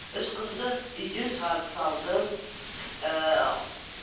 үш қызды үйден шығарып салдым ііі